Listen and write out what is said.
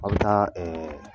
An bɛ taa ɛɛ